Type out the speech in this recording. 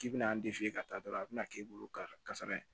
K'i bɛna an dege ka taa dɔrɔn a bɛna k'i bolo ka sara yen